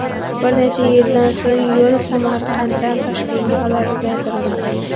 Bir necha yildan so‘ng yo‘l Samarqanddan Toshkentga qadar uzaytirildi.